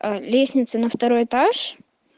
лестницы на второй этаж